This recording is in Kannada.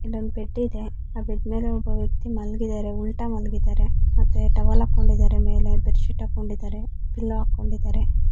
ಇಲ್ಲೊಂದು ಬೆಡ್ ಇದೆ ಆ ಬೆಡ್ ಮೇಲೆ ಒಬ್ಬ ವ್ಯಕ್ತಿ ಮಲಗಿದ್ದಾರೆ ಉಲ್ಟಾ ಮಲಗಿದ್ದಾರೆ ಮತ್ತೆ ಟವೆಲ್ ಹಾಕೊಂಡಿದ್ದಾರೆ ಮೇಲೆ ಬೆಡ್ಶೀಟ್ ಹಾಕೊಂಡಿದ್ದಾರೆ ಪಿಲ್ಲೋ ಹಾಕೊಂಡಿದ್ದರೆ--